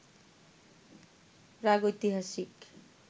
প্রাগৈতিহাসিক